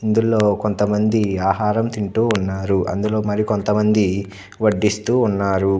ఇందులో కొంతమంది ఆహారం తింటూ ఉన్నారు. అందులో మరి కొంతమంది వడ్డిస్తూ ఉన్నారు.